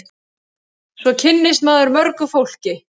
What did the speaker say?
Svo kynnist maður mörgu fólki.